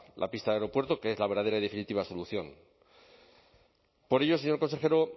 la pista del aeropuerto que es la verdadera y definitiva solución por ello señor consejero